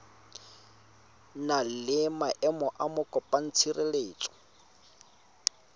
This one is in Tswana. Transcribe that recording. na le maemo a mokopatshireletso